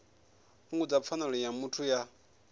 fhungudza pfanelo ya muthu ya